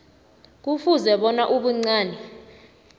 kufuze bona ubuncani